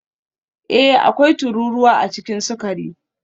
Ee, akwai tururuwa a cikin sukari